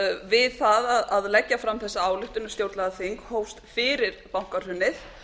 við það að leggja fram þessa ályktun um stjórnlagaþing hófst fyrir bankahrunið